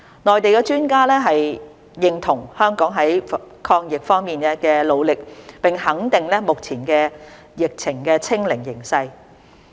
內地專家認同香港在抗疫方面的努力，並肯定目前疫情"清零"的形勢。